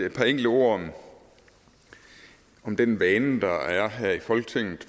et par enkelte ord om den vane der er her i folketinget